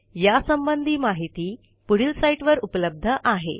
यासंबंधी माहिती पुढील साईटवर उपलब्ध आहे